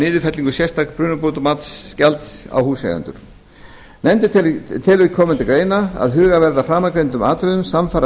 niðurfellingu sérstaks brunabótamatsgjalds á húseigendur nefndin telur koma til greina að hugað verði að framangreindum atriðum samfara